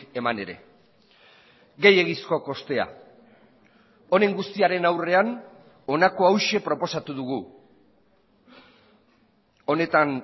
eman ere gehiegizko kostea honen guztiaren aurrean honako hauxe proposatu dugu honetan